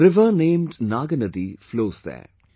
A river named Naagnadi flows there